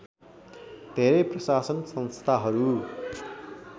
धेरै प्रशासन संस्थाहरू